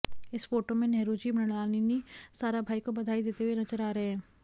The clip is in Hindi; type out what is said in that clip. इस फोटो में नेहरू जी मृणालिनी साराभाई को बधाई देते हुए नजर आ रहे हैं